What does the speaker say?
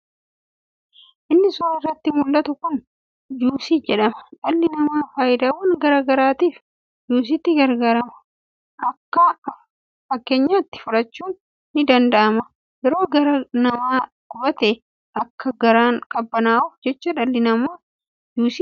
Inni suuraa irratti muldhatu kun juusii jedhama. Dhalli namaa faayidaawwan garaa garaatiif juusitti gargaarama. Akka fakkeenyatti fudhachuun kan danda'amu yeroo garaan nama gubatee akka garaan qabbanaa'uuf jecha dhalli namaa juusii dhugaa.